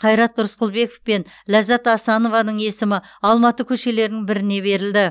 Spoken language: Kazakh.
қайрат рысқұлбеков пен ләззат асанованың есімі алматы көшелерін біріне берілді